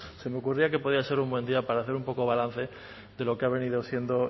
se me ocurría que podía ser un buen día para hacer un poco balance de lo que ha venido haciendo